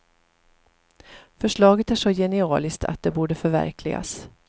Förslaget är så genialiskt att det borde förverkligas.